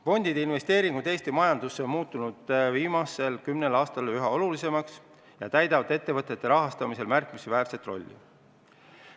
Fondide investeeringud Eesti majandusse on viimase kümne aasta jooksul muutunud üha olulisemaks ja täidavad ettevõtete rahastamisel märkimisväärset rolli.